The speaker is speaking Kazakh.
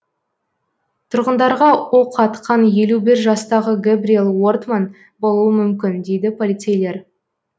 тұрғындарға оқ атқан елу бір жастағы гэбриел уортман болуы мүмкін дейді полицейлер